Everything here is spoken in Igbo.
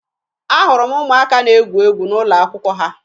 Ahụrụ m ụmụaka na-egwu egwu n'ụlọakwụkwọ ha